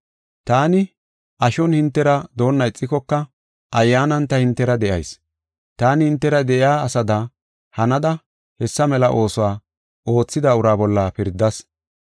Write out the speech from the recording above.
Taani ashon hintera doona ixikoka ayyaanan ta hintera de7ayis. Taani hintera de7iya asada hanada hessa mela oosuwa oothida ura bolla pirdas.